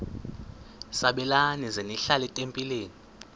sabelani zenihlal etempileni